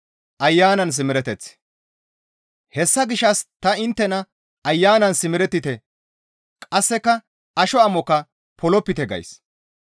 Hessa gishshas ta inttena Ayanan simerettite; qasseka asho amokka polopite gays.